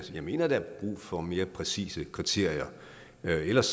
jeg mener at der er brug for mere præcise kriterier ellers